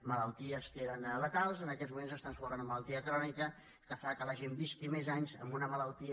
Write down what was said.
malalties que eren letals en aquests moments estan sent una malaltia crònica que fa que la gent visqui més anys amb una malaltia